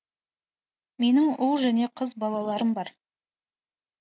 менің ұл және қыз балаларым бар